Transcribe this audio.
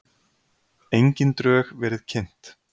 Engin drög verið kynnt